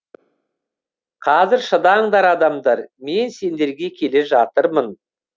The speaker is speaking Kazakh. қазір шыдаңдар адамдар мен сендерге келе жатырмын